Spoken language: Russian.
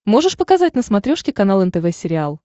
можешь показать на смотрешке канал нтв сериал